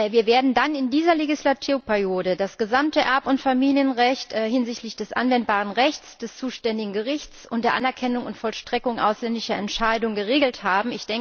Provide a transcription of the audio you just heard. Wir werden dann in dieser Legislaturperiode das gesamte Erb und Familienrecht hinsichtlich des anwendbaren Rechts, des zuständigen Gerichts und der Anerkennung und Vollstreckung ausländischer Entscheidungen geregelt haben.